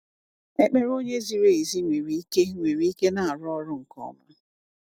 "Ekpere onye ziri ezi nwere ike nwere ike na arụ ọrụ nke ọma."